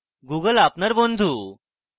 google আপনার বন্ধু